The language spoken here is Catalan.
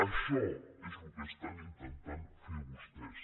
això és el que intenten fer vostès